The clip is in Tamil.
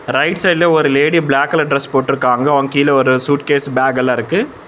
ரைட் சைடுல ஒரு லேடி பிளாக் கலர் டிரஸ் போட்ருக்காங்க அவங் கீழ சூட்கேஸ்ஸு பேக்கல்லா இருக்கு.